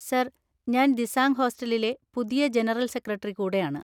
Sir‍, ഞാന്‍ ദിസാംഗ് ഹോസ്റ്റലിലെ പുതിയ ജനറൽ സെക്രട്ടറി കൂടെയാണ്.